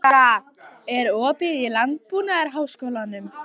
Ása, er opið í Landbúnaðarháskólanum?